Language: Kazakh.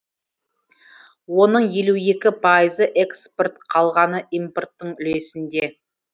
оның елу екі пайызы экспорт қалғаны импорттың үлесінде